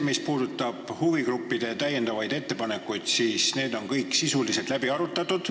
Mis puudutab huvigruppide täiendavaid ettepanekuid, siis need on kõik sisuliselt läbi arutatud.